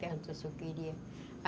Perguntou se eu queria.